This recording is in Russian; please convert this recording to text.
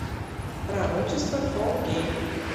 пророчество фо кей